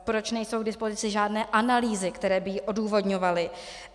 Proč nejsou k dispozici žádné analýzy, které by ji odůvodňovaly?